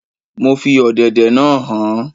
Mo fi ọ̀dẹ̀dẹ̀ naa han